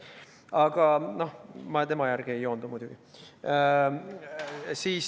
Aga ma tema järgi muidugi ei joondu.